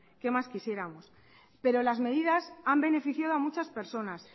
qué más quisiéramos pero las medidas han beneficiado a muchas personas